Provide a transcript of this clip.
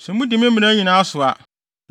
“ ‘Sɛ mudi me mmara no nyinaa so a,